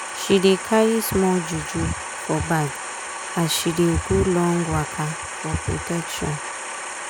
she dey carry small juju for bag as she dey go long waka for protection